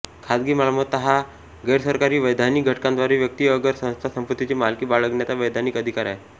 खाजगी मालमत्ता हा गैरसरकारी वैधानिक घटकांद्वारे व्यक्ती अगर संस्था संपत्तीची मालकी बाळगण्याचा वैधानिक अधिकार आहे